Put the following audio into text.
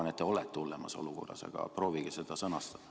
Ma arvan, et te olete hullemas olukorras, aga proovige seda sõnastada.